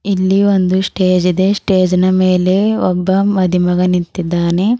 ಇಲ್ಲಿ ಒಂದು ಸ್ಟೇಜ್ ಇದೆ ಸ್ಟೇಜ್ ಇನ ಮೇಲೆ ಒಬ್ಬ ಮದಿಮಗ ನಿಂತಿದ್ದಾನೆ.